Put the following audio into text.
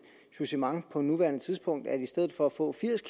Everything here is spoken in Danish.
jugement på nuværende tidspunkt at i stedet for at få firs